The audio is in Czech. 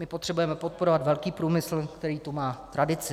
My potřebujeme podporovat velký průmysl, který tu má tradici.